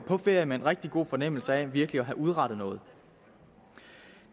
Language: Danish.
på ferie med en rigtig god fornemmelse af virkelig at have udrettet noget